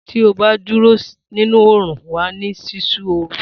Tí ó bá dúró nínú òrún, wàá ní sísú òrú